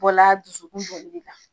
O la dusukun kun wuli la.